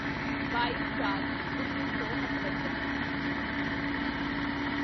ਬਾਈਚਾਰਉੱਨੀ ਸੌ ਅਠਵੰਜਾ